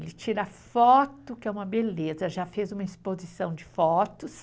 Ele tira foto, que é uma beleza, já fez uma exposição de fotos.